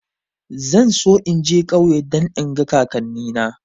Zan so in je ƙauye don in ga kakanni na